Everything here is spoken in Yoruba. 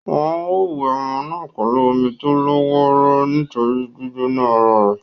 Wọ́n á wẹ ọmọ náà pẹ̀lú omi tó lọ́ wọ́ró nítorí gbígbóná ara è.